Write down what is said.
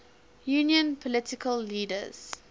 union political leaders